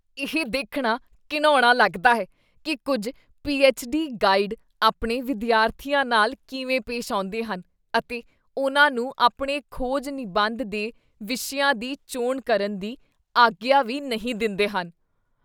ਇਹ ਦੇਖਣਾ ਘਿਣਾਉਣਾ ਲੱਗਦਾ ਹੈ ਕੀ ਕੁੱਝ ਪੀ.ਐੱਚ.ਡੀ. ਗਾਈਡ ਆਪਣੇ ਵਿਦਿਆਰਥੀਆਂ ਨਾਲ ਕਿਵੇਂ ਪੇਸ਼ ਆਉਂਦੇਹਨ ਅਤੇ ਉਨ੍ਹਾਂ ਨੂੰ ਆਪਣੇ ਖੋਜ ਨਿਬੰਧ ਦੇ ਵਿਸ਼ਿਆਂ ਦੀ ਚੋਣ ਕਰਨ ਦੀ ਆਗਿਆ ਵੀ ਨਹੀਂ ਦਿੰਦੇਹਨ।